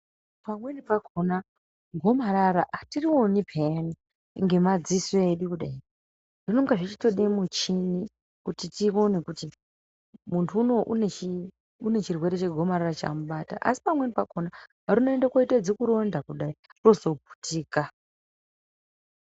Pamweni pakona gomarara atirioni peyani ngemadziso edu kudai zvinonga zvichitoda muchini tione kuti muntu uno unechirwere chegomarara chamubata asi pamweni pakona rinoende kunoita zikuronda kudai rozoputika.